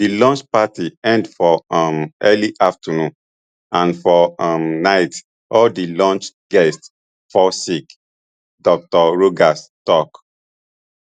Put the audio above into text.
di lunch party end for um early afternoon and for um night all di lunch guests fall sick dr rogers tok